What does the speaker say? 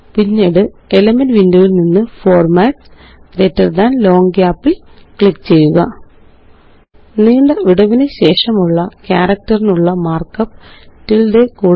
പിന്നീട്Elements window യില് നിന്ന് ഫോർമാട്സ്ഗ്ട് ലോങ് ഗാപ്പ് ല് ക്ലിക്ക് ചെയ്യുക നീണ്ട വിടവിനുശേഷമുള്ള ക്യാരക്റ്ററിനുള്ള മാര്ക്കപ്പ് ടിൽഡെ